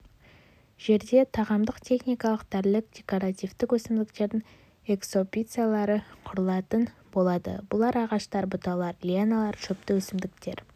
жерде тағамдық техникалық дәрілік декоративтік өсімдіктердің экспозициялары құрылатын болады бұлар ағаштар бұталар лианалар шөпті өсімдіктер